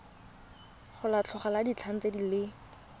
go lekgotla la ditlhaeletsano le